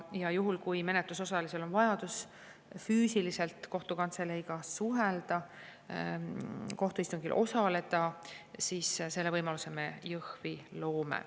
Ja juhul, kui menetlusosalisel on vajadus füüsiliselt kohtukantseleiga suhelda, kohtuistungil osaleda, siis selle võimaluse me Jõhvi loome.